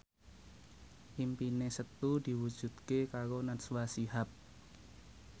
impine Setu diwujudke karo Najwa Shihab